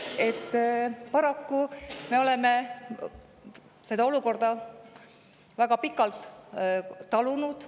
Paraku me oleme seda olukorda väga pikalt talunud.